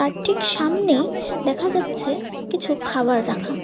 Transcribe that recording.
ঠিক সামনেই দেখা যাচ্ছে কিছু খাবার রাখা।